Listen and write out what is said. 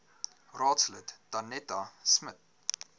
raadslid danetta smit